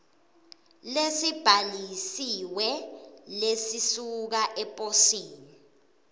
lesibhalisiwe lesisuka eposini